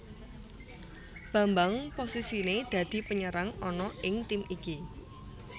Bambang posisinè dadi penyerang ana ing tim iki